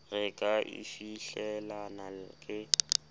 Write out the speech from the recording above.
re ka e fihlelang ke